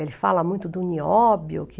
Ele fala muito do Nióbio, que